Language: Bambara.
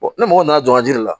ni mɔgɔ nana don a ji de la